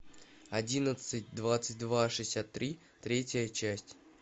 одиннадцать двадцать два шестьдесят три третья часть